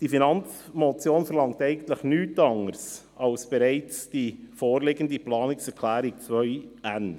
Diese Finanzmotion verlangt eigentlich nichts anderes als die bereits vorliegende Planungserklärung 2n.